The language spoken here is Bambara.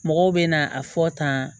Mɔgɔw bɛ na a fɔ tan